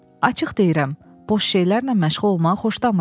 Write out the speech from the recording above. Açıq deyirəm, boş şeylərlə məşğul olmağı xoşlamıram.